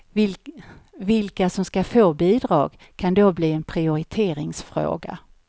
Vilka som ska få bidrag kan då bli en prioriteringsfråga.